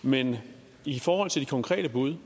men i forhold til de konkrete bud